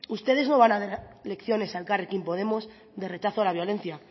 ustedes no van a dar lecciones a elkarrekin podemos de rechazo a la violencia